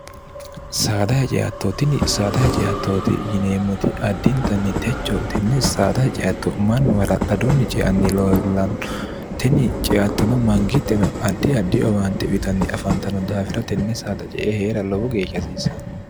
saadahaceattootini saada haceattooti yineemmoti addiintanni techo tenne saadaha ceatto mannu hala'ladunni ceanni lollanteni ceattono mangitteno addi addi owaante uyitanni afaantano daawira tenne saada ce e hee'ra lowo geeshahsiisanno